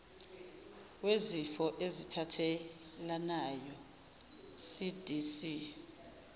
wezifo ezithathelanayo cdc